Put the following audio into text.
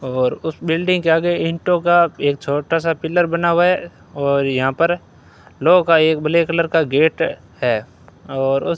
और उस बिल्डिंग के आगे इंटों का एक छोटा सा पिलर बना हुआ है और यहां पर लोहो का एक ब्लैक कलर का गेट है और --